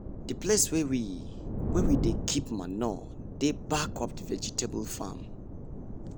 the place wey we wey we dey keep manure dey back of the vegetable farm.